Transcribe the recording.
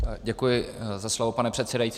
Děkuji za slovo, pane předsedající.